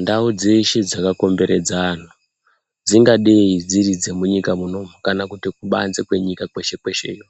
Ndau dzeshe dzakakomberedza antu dzingadei dziri dzemunyika munomu kana kuti kubanze kwenyika kweshe kwesheyo